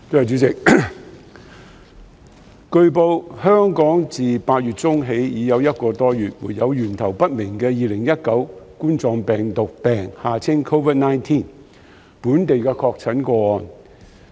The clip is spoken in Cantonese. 主席，據報，香港自8月中起已一個多月沒有源頭不明的2019冠狀病毒病本地確診個案。